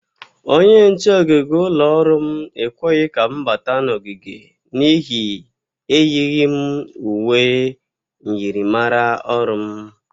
Onye nche ogige ụlọ ọrụ m ekweghi ka m bata n'ogige n'ihi eyighi m uwe myịrịmara ọrụ m.